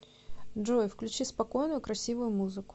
джой включи спокойную красивую музыку